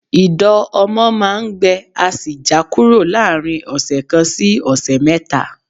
Ìdọ̀ ọmọ máa ń gbẹ á sì já kúrò láàrin ọ̀sẹ̀ kan sí ọ̀sẹ̀ mẹ́ta